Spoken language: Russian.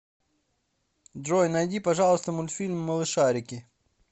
джой найди пожалуйста мультфильм малышарики